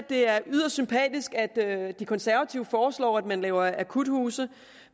det er yderst sympatisk at de konservative foreslår at man laver akuthuse